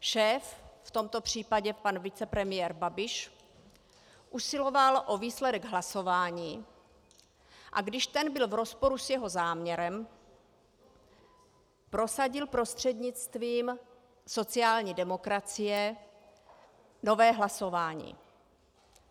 Šéf, v tomto případě pan vicepremiér Babiš, usiloval o výsledek hlasování, a když ten byl v rozporu s jeho záměrem, prosadil prostřednictvím sociální demokracie nové hlasování.